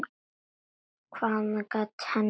Hvað annað gat hann gert?